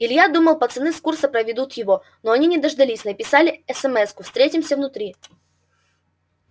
илья думал пацаны с курса проведут его но они не дождались написали эсэмэску встретимся внутри